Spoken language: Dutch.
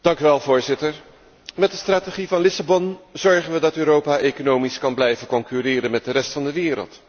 Voorzitter, met de strategie van Lissabon zorgen we ervoor dat Europa economisch kan blijven concurreren met de rest van de wereld.